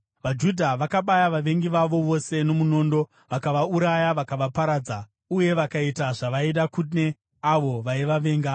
VaJudha vakabaya vavengi vavo vose nomunondo, vakavauraya vakavaparadza, uye vakaita zvavaida kune avo vaivavenga.